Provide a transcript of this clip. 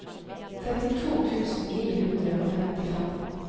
trettito tusen ni hundre og femtifem